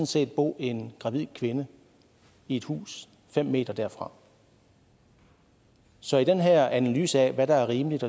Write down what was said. set bo en gravid kvinde i et hus fem m derfra så i den her analyse af hvad der er rimeligt